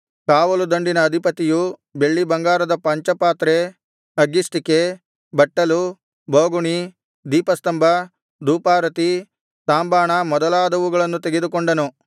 ಕಾವಲು ದಂಡಿನ ಅಧಿಪತಿಯು ಬೆಳ್ಳಿಬಂಗಾರದ ಪಂಚಪಾತ್ರೆ ಅಗ್ಗಿಷ್ಟಿಕೆ ಬಟ್ಟಲು ಬೋಗುಣಿ ದೀಪಸ್ತಂಭ ಧೂಪಾರತಿ ತಾಂಬಾಣ ಮೊದಲಾದವುಗಳನ್ನು ತೆಗೆದುಕೊಂಡನು